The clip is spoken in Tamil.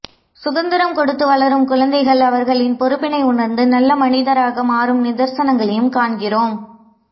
சுதந்திரம் கொடுத்து வளரும் குழந்தைகள் அவர்களின் பொறுப்பினை உணர்ந்து நல்ல மனிதராக மாறும் நிதர்சனங்களையும் காண்கிறோம்